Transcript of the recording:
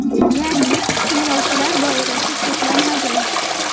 Ya’ni tinglovchilar doirasi cheklanmagan.